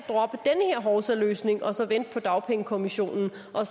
hovsaløsning og så vente på dagpengekommissionen og